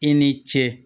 I ni ce